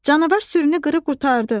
Canavar sürünü qırıb qurtardı.